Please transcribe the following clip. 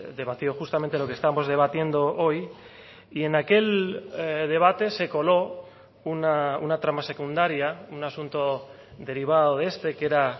debatió justamente lo que estamos debatiendo hoy y en aquel debate se coló una trama secundaria un asunto derivado de este que era